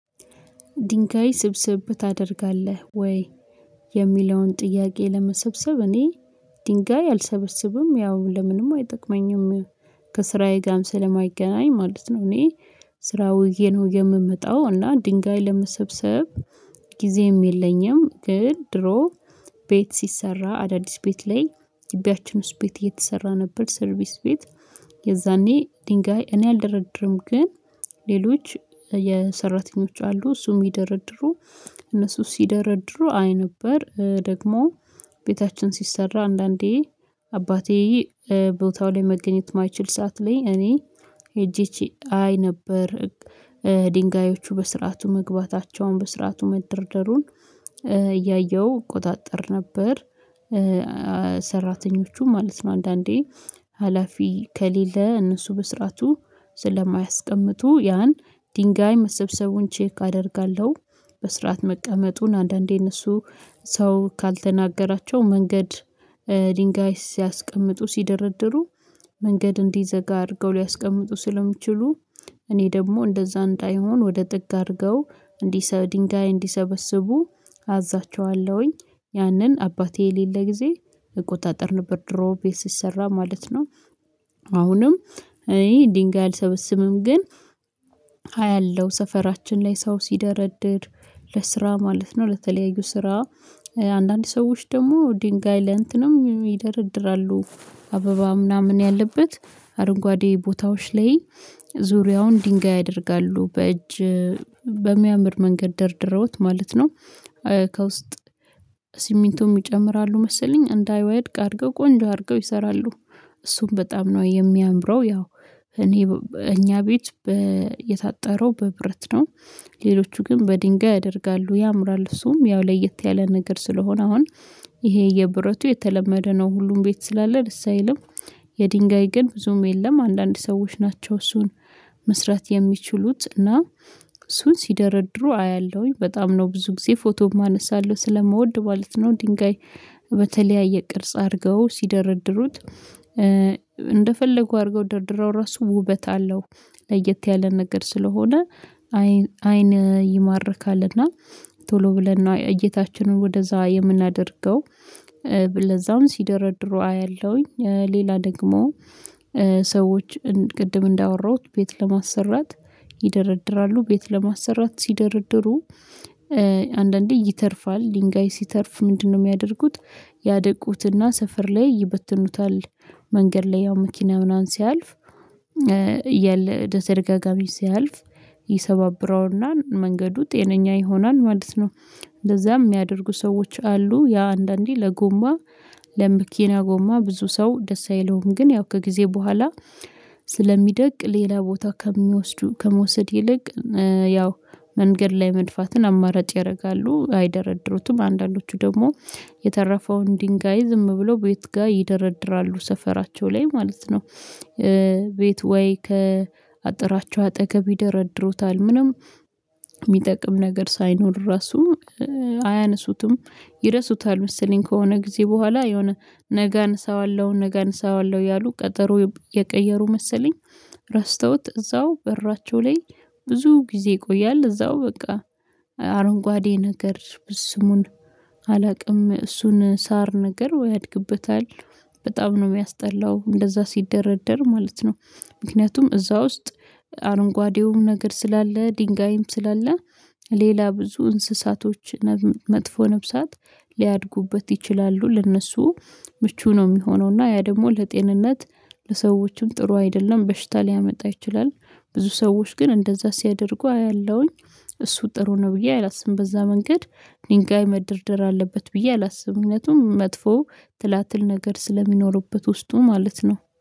ድንጋይ ስብስብ ታደርጋለህ ወይ? የሚለውን ጥያቄ ለመሰብሰብ እኔ ድንጋይ አልሰበሰብም ያው ለምንም አይጠቅመኝም ከስራዬ ጋርም ስለማይገናኝ ማለት ነው። እኔ ስራ ውዬ ነው የምመጣው እና ድንጋይ ለመሰብሰብ ጊዜም የለኝም። ግን ድሮ ቤት ሲሰራ አዳዲስ ቤት ላይ ግቢያችን ውስጥ ቤት እየተሰራ ነበር። ሰርቪስ ቤት የዛኔ ድንጋይ እኔ አልደረድርም ግን ሌሎች የሰራተኞች አሉ እሱን የሚደረድሩ እነሱ ሲደረድሩ አይ ነበር። ደግሞ ቤታችን ሲሰራ አንዳንዴ አባቴ ቦታው ላይ መገኘት የማይችል ሰዓት ላይ እኔ ሄጄ አይ ነበር ድንጋዮቹ በስርዓቱ መግባታቸውን በስርዓቱ መደርደሩን እያየሁ እቆጣጠር ነበር። ሰራተኞቹ ማለት ነው አንዳንዴ ሀላፊ ከሌለ እነሱ በስርዓቱ ስለማያስቀምጡ ያን ድንጋይ መሰብሰቡን ቼክ አደርጋለሁ። በስርዓት መቀመጡን አንዳንዴ እነሱ ሰው ካልተናገራቸው መንገድ ድንጋይ ሲያስቀምጡ ሲደረደሩ መንገድ እንዲዘጋ አድርገው ሊያስቀምጡ ስለሚችሉ እኔ ደግሞ እንደዛ እንዳይሆን ወደ ጥግ አድርገው ድንጋይ እንዲሰበስቡ አዛቸዋለሁኝ። ያንን አባቴ የሌለ ጊዜ እቆጣጠር ነበር ድሮ ቤት ሲሰራ ማለት ነው። አሁንም እኔ ድንጋይ አልሰበሰብም ግን አያለሁ ሰፈራችን ላይ ሰው ሲደረድድ ለስራ ማለት ነው ለተለያዩ ስራ አንዳንድ ሰዎች ደግሞ ድንጋይ ለእንትንም ይደረድራሉ። አበባ ምናምን ያለበት አረንጓዴ ቦታዎች ላይ ዙሪያውን ድንጋይ ያደርጋሉ በእጅ በሚያምር መንገድ ደርድረውት ማለት ነው። ከውስጥ ሲሚንቶ ይጨምራሉ መሰለኝ እንዳይወድቅ አድርገው ቆንጆ አድርገው ይሰራሉ እሱም በጣም ነው የሚያምረው ያው እኔ እኛ ቤት የታጠረው በብረት ነው። ሌሎቹ ግን በድንጋይ ያደርጋሉ ያምራል እሱም ያው ለየት ያለ ነገር ስለሆነ አሁን ይሄ የብረቱ የተለመደ ነው ሁሉም ቤት ስላለ ደስ አይልም። የድንጋይ ግን ብዙም የለም አንዳንድ ሰዎች ናቸው እሱን መስራት የሚችሉት እና እሱን ሲደረድሩ አያለሁኝ በጣም ነው ብዙ ጊዜ ፎቶም አነሳለሁ ስለምወድ ማለት ነው። ድንጋይ በተለያየ ቅርጽ አድርገው ሲደረድሩት እንደፈለጉ አድርገው ደርድረው ራሱ ውበት አለው። ለየት ያለ ነገር ስለሆነ አይን አይን ይማርካልና እና ቶሎ ብለን እየታችንን ወደዛ የምናደርገው ለዛውም ሲደረድሩ አያለሁኝ ሌላ ደግሞ ሰዎች ቅድም እንዳወራሁት ቤት ለማሰራት ይደረድራሉ ቤት ለማሰራት ሲደረድሩ አንዳንዴ ይተርፋል ድንጋይ ሲተርፍ ምንድነው የሚያደርጉት? ያደቁትና ሰፈር ላይ ይበትኑታል መንገድ ላይ ያው መኪና ምናምን ሲያልፍ እያለ በተደጋጋሚ ሲያልፍ ይሰባብረውና መንገዱ ጤነኛ ይሆናል ማለት ነው። እንደዛም የሚያደርጉ ሰዎች አሉ ያ አንዳንዴ ለጎማ ለመኪና ጎማ ብዙ ሰው ደስ አይለውም ግን ያው ከጊዜ በኋላ ስለሚደቅ ሌላ ቦታ ከሚወስዱ ከመውሰድ ይልቅ ያው መንገድ ላይ መድፋትን አማራጭ ያደርጋሉ አይደረድሩትም አንዳንዶቹ ደግሞ የተረፈውን ድንጋይ ዝም ብለው ቤት ጋር ይደረድራሉ ሰፈራቸው ላይ ማለት ነው። በት ወይ ከአጥራቸው አጠገብ ይደረድሩታል ምንም የሚጠቅም ነገር ሳይኖር ራሱ አያነሱትም ይረሱታል መሰለኝ ከሆነ ጊዜ በኋላ የሆነ ነገ አነሳዋለሁ ነገ አነሳዋለሁ እያሉ ቀጠሮ እቀየሩ መሰለኝ። ረስተውት እዛው በራቸው ላይ ብዙ ጊዜ ይቆያል እዛው በቃ አረንጓዴ ነገር ስሙን አላውቅም እሱን ሳር ነገር ያድግበታል በጣም ነው የሚያስጠላው እንደዛ ሲደረደር ማለት ነው። ምክንያቱም እዛ ውስጥ አረንጓዴውም ነገር ስላለ ድንጋይም ስላለ ሌላ ብዙ እንስሳቶች መጥፎ ነፍሳት ሊያድጉበት ይችላሉ ለእነሱ ምቹ ነው የሚሆነው እና ያ ደግሞ ለጤንነት ለሰዎችም ጥሩ አይደለም በሽታ ሊያመጣ ይችላል። ብዙ ሰዎች ግን እንደዛ ሲያደርጉ አያለሁኝ እሱ ጥሩ ነው ብዬ አላስብም በዛ መንገድ ድንጋይ መደርደር አለበት ብዬ አላስብም። ምክንያቱም መጥፎ ትላትል ነገር ስለሚኖርበት ውስጡ ማለት ነው